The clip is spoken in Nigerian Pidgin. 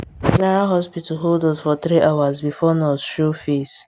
general hospital hold us for three hours before nurse show face